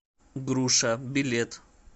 груша билет